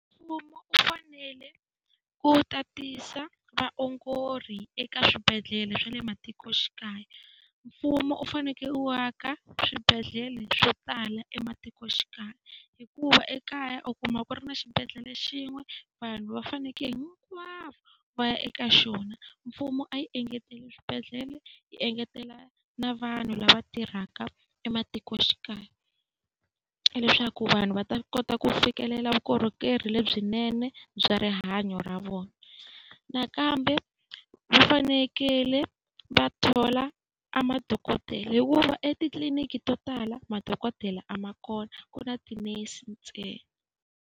Mfumo wu fanele ku tatisa vaongori eka swibedhlele swa le matikoxikaya, mfumo u fanekele u aka swibedhlele swo tala ematikoxikaya. Hikuva ekaya u kuma ku ri na xibedhlele xin'we, vanhu va fanekele hinkwavo va ya eka xona. Mfumo a yi engeteli swibedhlele yi engetela na vanhu lava tirhaka ematikoxikaya leswaku vanhu va ta kota ku fikelela vukorhokeri lebyinene bya swa rihanyo ra vona. Nakambe va fanekele va thola a madokodela hikuva etitliliniki to tala madokodela a ma kona, ku na tinese ntsena.